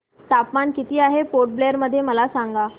तापमान किती आहे पोर्ट ब्लेअर मध्ये मला सांगा